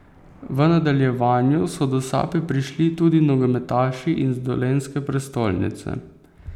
V nadaljevanju so do sape prišli tudi nogometaši iz dolenjske prestolnice.